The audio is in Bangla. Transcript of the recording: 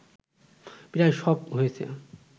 প্রায় সব হয়েছে